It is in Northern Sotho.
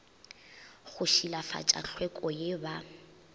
go šilafatša tlhweko ye ba